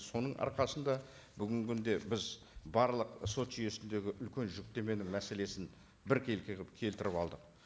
соның арқасында бүгінгі күнде біз барлық сот жүйесіндегі үлкен жүктеменің мәселесін біркелкі қылып келтіріп алдық